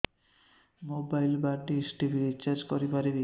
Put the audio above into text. mobile ବା dish TV recharge କରି ପାରିବି